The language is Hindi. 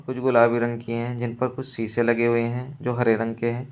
कुछ गुलाबी रंग की है जिन पर कुछ शीशे लगे हुए है जो हरे रंग के हैं।